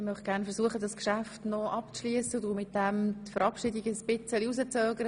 Ich möchte versuchen, dieses Geschäft abzuschliessen und werde damit die Verabschiedungen etwas hinauszuzögern.